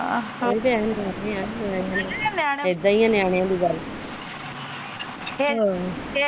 ਆਹੋ ਇਦਾ ਹੀ ਆ ਨਿਆਣੇਆ ਦੀ ਗੱਲ .